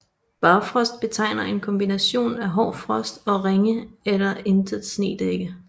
Barfrost betegner en kombination af hård frost og ringe eller intet snedække